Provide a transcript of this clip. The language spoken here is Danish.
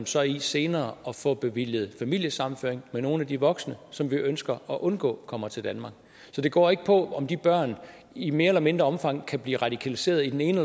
så i senere at få bevilget familiesammenføring med nogle af de voksne som vi ønsker at undgå kommer til danmark så det går ikke på om de børn i mere eller mindre omfang kan blive radikaliseret i den ene